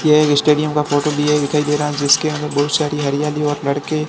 यह एक स्टेडियम का फोटो दिया दिखाई दे रहा है जिसके अंदर बहुत सारी हरियाली और लड़के--